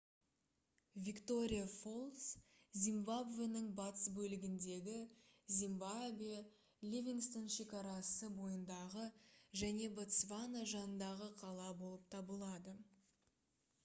виктория фоллс зимбабвенің батыс бөлігіндегі замбия ливингстон шекарасы бойындағы және ботсвана жанындағы қала болып табылады